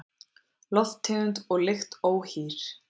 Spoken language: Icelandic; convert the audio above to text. Lofttegund og lykt óhýr